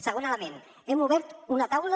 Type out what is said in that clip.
segon element hem obert una taula